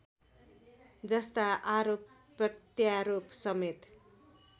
जस्ता आरोप प्रत्यारोपसमेत